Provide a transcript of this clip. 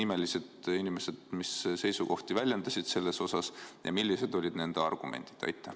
Kes nimeliselt mis seisukohti väljendasid ja millised olid nende argumendid?